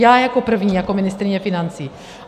Já jako první, jako ministryně financí.